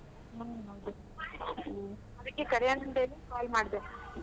ಹ್ಮ ಹ್ಮ ಅದಕ್ಕೇ ಕರ್ಯನ ಅಂತ್ ಹೇಳಿ call ಮಾಡ್ದೆ.